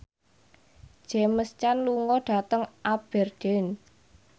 James Caan lunga dhateng Aberdeen